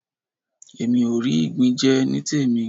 Èmi ò rí ìgbín jẹ nítèmí.